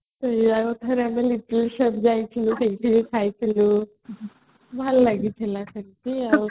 ସେଇଆ ପା ଥରେ ଆମେ little shop ଯାଇଥିଲେ ସେଠିବି ଖାଇଥିଲେ ଭଲ ଲାଗିଥିଲା ସେଠି ଆଉ